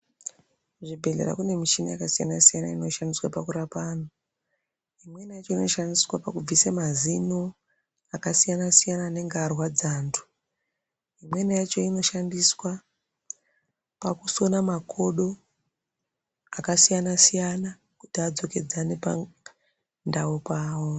Kuzvibhehlera kune michini yakasiyanasiyana inoshandiswe pakurapa antu imweniyacho inoshandiwe pakubvise mazino akasiyanasiyana anenge arwadza ntu imweni yacho inoshandiswa pakusona makodo akasiyanasiyana kuti adzokedzane pandau pawo.